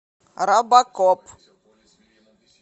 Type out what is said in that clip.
робокоп